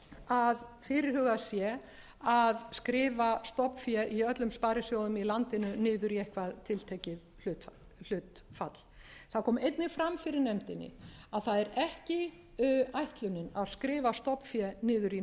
að fyrirhugað sé að skrifa stofnfé í öllum sparisjóðum í landinu niður í eitthvað tiltekið hlutfall það kom einnig fram fyrir nefndinni að það er ekki ætlunin að skrifa stofnfé niður í